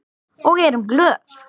Og erum glöð.